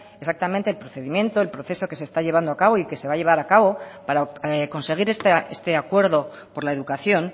exactamente el procedimiento el proceso que se está llevando a cabo y que se va a llevar a cabo para conseguir este acuerdo por la educación